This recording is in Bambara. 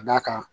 Ka d'a kan